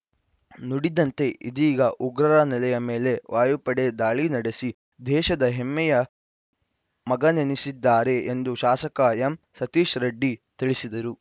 ನುಡಿದಂತೆ ಇದೀಗ ಉಗ್ರರ ನೆಲೆಯ ಮೇಲೆ ವಾಯುಪಡೆ ದಾಳಿ ನಡೆಸಿ ದೇಶದ ಹೆಮ್ಮೆಯ ಮಗನೆನೆಸಿದ್ದಾರೆ ಎಂದು ಶಾಸಕ ಎಂಸತೀಶ್‌ ರೆಡ್ಡಿ ತಿಳಿಸಿದರು